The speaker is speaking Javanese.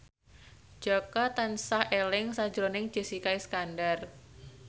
Jaka tansah eling sakjroning Jessica Iskandar